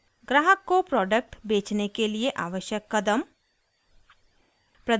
ग्राहक को प्रोडक्ट बेचने के लिए आवश्यक कदम